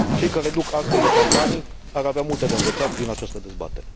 Cei care duc astfel de campanii ar avea multe de învățat din această dezbatere.